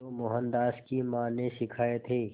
जो मोहनदास की मां ने सिखाए थे